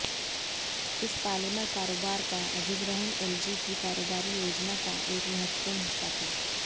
इस पॉलिमर कारोबार का अधिग्रहण एलजी की कारोबारी योजना का एक महत्त्वपूर्ण हिस्सा था